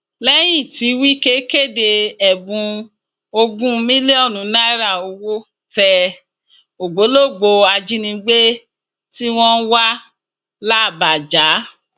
lẹyìn tí wike kéde ẹbùn ogún mílíọnù náírà owó tẹ ògbólógbòó ajínigbé tí wọn ń wá làbàjá